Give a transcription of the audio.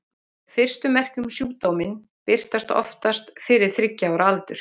Fyrstu merki um sjúkdóminn birtast oftast fyrir þriggja ára aldur.